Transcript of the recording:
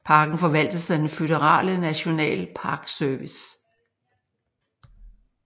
Parken forvaltes af den føderale National Park Service